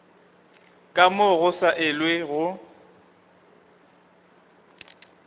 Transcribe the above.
ka moo go sa elwego